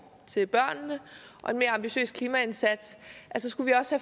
til børnene og en mere ambitiøs klimaindsats så skal vi også